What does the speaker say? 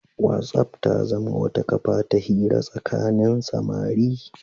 Whatsapp ta zama wata kafa ta hira tsakanin samari.